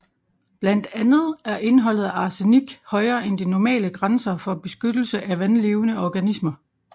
Blandt andet er indholdet af arsenik højere end de normale grænser for beskyttelse af vandlevende organismer